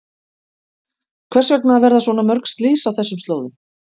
Hvers vegna verða svona mörg slys á þessum slóðum?